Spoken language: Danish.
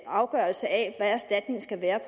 afgørelse af hvad erstatningen skal være